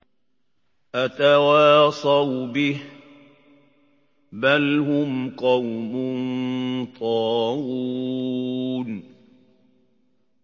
أَتَوَاصَوْا بِهِ ۚ بَلْ هُمْ قَوْمٌ طَاغُونَ